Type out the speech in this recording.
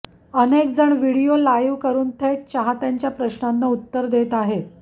अनेकजण video live करून थेट चाहत्यांच्या प्रश्नांना उत्तर देत आहेत